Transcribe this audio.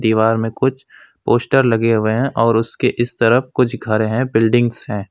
दीवार में कुछ पोस्टर लगे हुए हैं और उसके इस तरफ कुछ घर हैं बिल्डिंग्स हैं।